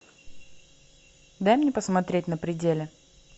дай мне посмотреть на пределе